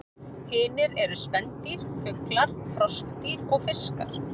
Hinir eru spendýr, fuglar, froskdýr og fiskar.